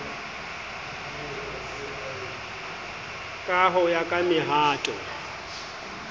ka ho ya ka mehato